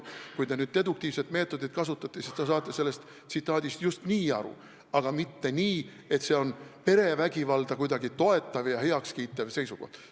Kui te nüüd deduktiivset meetodit kasutate, siis te saate sellest tsitaadist aru just nii, aga mitte nii, et see on kuidagi perevägivalda toetav ja heaks kiitev seisukoht.